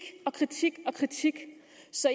så